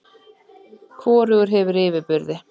Hvorugur hefur yfirburði.